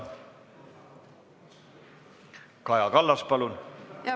Kaja Kallas, palun!